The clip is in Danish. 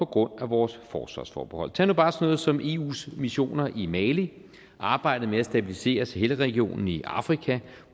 grund af vores forsvarsforbehold tag nu bare noget som eus missioner i mali arbejdet med at stabilisere sahelregionen i afrika